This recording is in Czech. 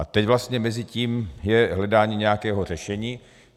A teď vlastně mezi tím je hledání nějakého řešení.